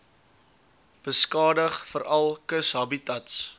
beskadig veral kushabitats